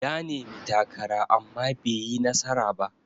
Ya nemi takara amma baiyi nasara ba.